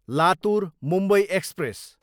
Latur, Mumbai express